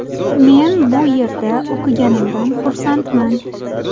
Men bu yerda o‘qiganimdan xursandman.